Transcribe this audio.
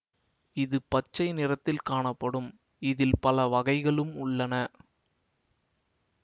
இது பச்சை நிறத்தில் காணப்படும் இதில் பல வகைகளும் உள்ளன